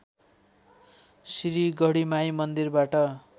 श्री गढीमाई मन्दिरबाट